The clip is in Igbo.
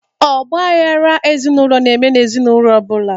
Ọgba aghara ezinụlọ na-eme n'ezinaụlọ ọ bụla